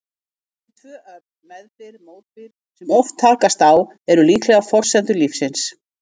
Þessi tvö öfl, meðbyr-mótbyr, sem svo oft takast á, eru líklega forsendur lífsins.